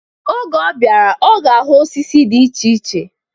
Oge ọ bịara, ọ ga-ahụ osisi dị iche iche